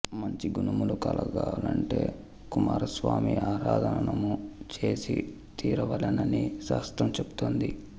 మంచి గుణములు కలగాలంటే కుమారస్వామి ఆరాధనము చేసి తీరవలెనని శాస్త్రం చెప్తోంది